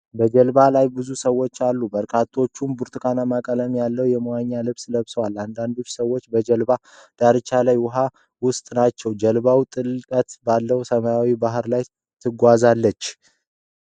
በጀልባዋ ላይ ብዙ ሰዎች አሉ። በርካታዎቹ ብርቱካንማ ቀለም ያለው የመዋኛ ልብስ ለብሰዋል። አንዳንድ ሰዎች በጀልባዋ ዳርቻ እና ውሃው ውስጥም ናቸው። ጀልባዋ ጥልቀት ባለው ሰማያዊ ባህር ላይ ትጓዛለች።